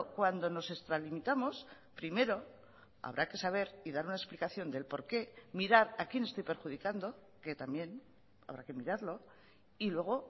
cuando nos extralimitamos primero habrá que saber y dar una explicación del porqué mirar a quien estoy perjudicando que también habrá que mirarlo y luego